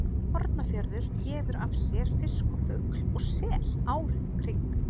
Hornafjörður gefur af sér fisk og fugl og sel árið um kring.